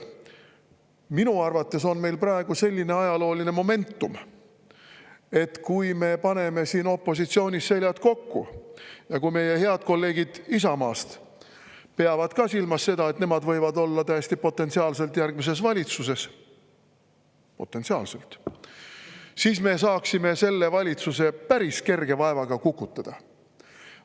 Minu arvates on meil praegu selline ajalooline momentum, et kui me paneme siin opositsioonis seljad kokku ja kui meie head kolleegid Isamaast peavad ka silmas seda, et nemad võivad olla täiesti potentsiaalselt järgmises valitsuses – potentsiaalselt –, siis me saaksime praeguse valitsuse päris kerge vaevaga kukutada.